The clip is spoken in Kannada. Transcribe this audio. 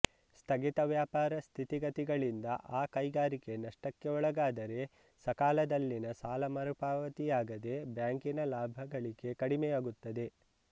ಸ್ಥಗಿತ ವ್ಯಾಪಾರ ಸ್ಥಿತಿಗತಿಗಳಿಂದ ಆ ಕೈಗಾರಿಕೆ ನಷ್ಟಕ್ಕೆ ಒಳಗಾದರೆ ಸಕಾಲದಲ್ಲಿನ ಸಾಲ ಮರುಪಾವತಿಯಾಗದೆ ಬ್ಯಾಂಕಿನ ಲಾಭಗಳಿಕೆ ಕಡಿಮೆಯಾಗುತ್ತದೆ